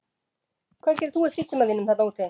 Hvað gerir þú í frítíma þínum þarna úti?